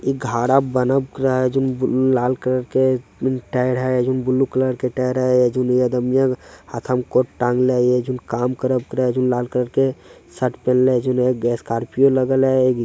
घारा बनक रहा है जोन लाल कलर के टायर है जोन ब्लू कलर के टायर है जोन हाथो में कोट टांगले है लाल कलर के शर्ट पहनले जोन स्कॉर्पिओ लगयले हय।